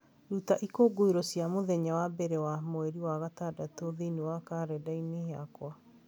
ruta ikũngũĩro cia mũthenya wa mbere wa mweri wa gatandatũ thĩinĩ wa kalendarĩ yakwa